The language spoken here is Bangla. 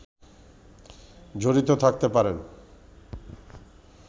জড়িত থাকতে পারেন